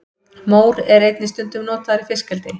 mór er einnig stundum notaður í fiskeldi